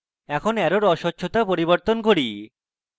এখন অ্যারোর অস্বচ্ছতা পরিবর্তন করি